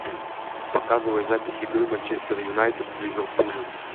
показывай запись игры манчестер юнайтед с ливерпулем